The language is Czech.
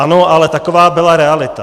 Ano, ale taková byla realita.